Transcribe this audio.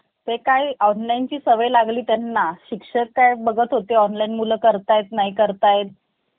काय कामाचं काय नाई, ते तुम्हाला सांगणार, हे काम आहे असंय-तसंय.